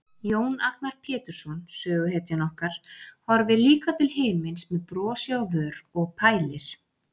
Jón Agnar Pétursson, söguhetjan okkar, horfir líka til himins með brosi á vör og pælir.